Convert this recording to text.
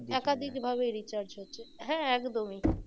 একাধিক ভাবে recharge হচ্ছে হ্যাঁ একদমই